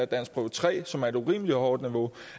danskprøve tre som er på et urimelig hårdt niveau